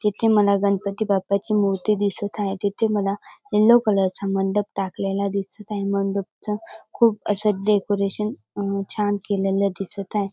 तिथे मला गणपती बाप्पा ची मूर्ती दिसत हाय तिथ मला यल्लो कलर चा मंडप टाकलेला दिसत हाय मंडप च खूप अस डेकोरेशन अ छान केलेल दिसत हाय.